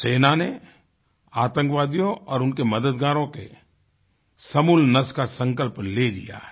सेना ने आतंकवादियों और उनके मददगारों के समूल नाश का संकल्प ले लिया है